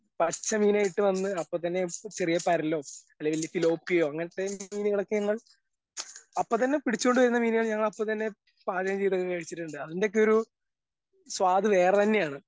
പച്ച മീനായിട്ട് വന്ന് അപ്പത്തന്നെ ചെറിയ പരലോ അല്ലെങ്കി വല്ല സിലോപ്പിയോ അങ്ങൻത്തെ മീനാളൊക്കെയാണ് അപ്പത്തന്നെ പിടിച്ചോണ്ട് വരുന്ന മീനാള് ഞങ്ങളപ്പത്തന്നെ പാചകം ചെയ്ത് കഴിച്ചിട്ടുണ്ട് അതിന്റെയൊക്കെയൊരു സ്വാദ് വേറെ തന്നെയാണ്.